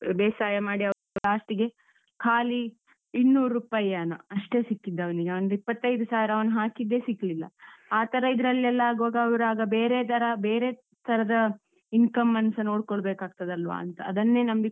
ಬೇಸಾಯ ಮಾಡಿ ಅವ್ರು last ಗೆ ಖಾಲಿ ಇನ್ನೂರ್ ರೂಪಾಯೇನೋ ಅಷ್ಟೇ ಸಿಕ್ಕಿದ್ದವನಿಗೆ ಒಂದ್ ಇಪ್ಪತ್ತೈದು ಸಾವಿರ ಅವನು ಹಾಕಿದ್ದೇ ಸಿಕ್ಲಿಲ್ಲ. ಆ ತರ ಇದ್ರಲ್ಲೆಲ್ಲ ಆಗುವಾಗ ಅವ್ರಾಗ ಬೇರೆ ದರ ಬೇರೆ ತರದ income ಅನ್ನು ಸ ನೋಡ್ಕೋಳ್ಬೇಕಾಗ್ತದಲ್ವಾಂತ. ಅದನ್ನೇ ನಂಬಿಕೊಂಡು